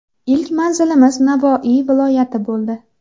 Ilk manzilimiz Navoiy viloyati bo‘ldi.